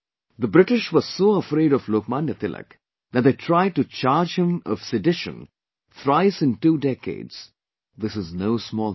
The British were so afraid of Lok Manya Tilak that they tried to charge him of sedition thrice in two decades; this is no small thing